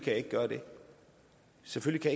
jeg ikke gøre det selvfølgelig